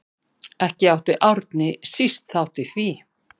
Ekki átti Árni síst þátt í því.